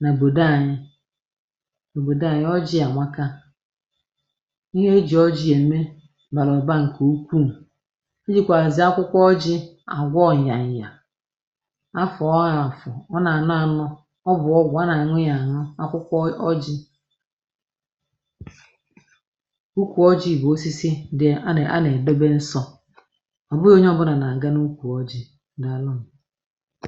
n’òbòdo anyị òbòdo anyị ọjị àmaka ihe ejì ọjị emė bàrà ụba ǹkè ukwuù ejìkwàzì akwụkwọ ọjị̇ àgwọ nyanyà. A fọọ ya afọ ọ nanọanọ, ọ bụ ọgwụ, a na-aṅụ ya aṅụ. Akwụkwọ ọ ọjị̇ ukwu ọjị̇ bụ̀ osisi dị, a nà èbebe nsọ̇ ọ̀ bụghị̇ onye ọbụnà nà à ganukwu ọjị̇ daalụnụ